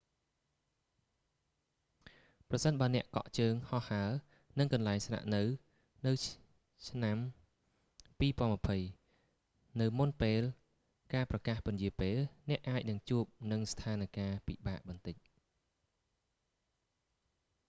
ប្រសិនបើអ្នកកក់ជើងហោះហើរនិងកន្លែងស្នាក់នៅឆ្នាំ 2020 នៅមុនពេលការប្រកាសពន្យារពេល អ្នកអាចនឹងជួបនឹងស្ថានការណ៍ពិបាកបន្តិច